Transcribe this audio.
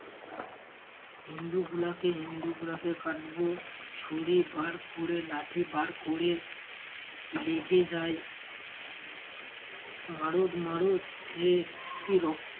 হিন্দু গুলাকে হিন্দুগুলাকে কাটবো ছুরি বার ক'রে লাঠি বার ক'রে লেগে যায় মারোদ মারোদ সে কী রক্ত